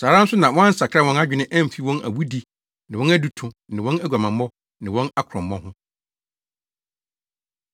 Saa ara nso na wɔansakra wɔn adwene amfi wɔn awudi ne wɔn aduto ne wɔn aguamammɔ ne wɔn akorɔmmɔ ho.